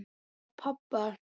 Upp á pabba.